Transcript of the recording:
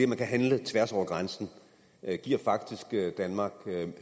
man kan handle tværs over grænsen faktisk giver danmark